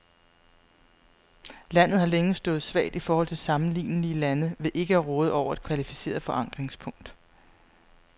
Landet har længe stået svagt i forhold til sammenlignelige lande ved ikke at råde over et kvalificeret forankringspunkt.